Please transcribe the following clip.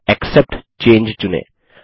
तथा एक्सेप्ट चंगे चुनें